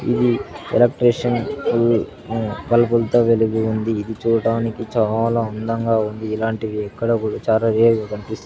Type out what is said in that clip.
ఇది ఎలక్ట్రీషియన్ దీని బల్బుల్ తో వెలిగి ఉంది ఇది చూడడానికి చాలా అందంగా ఉంది. ఇలాంటివి ఎక్కడా కూడా చాలా రేర్ గా కనిపిస్ --